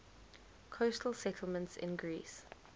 coastal settlements in greece